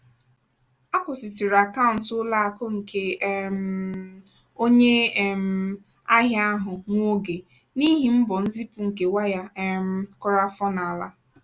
akwụsịtụrụ akaụntụ ụlọ akụ nke um onye um ahịa ahụ nwa oge n'ihi mbọ nzipụ nke waya um kụrụ afọ n'ala.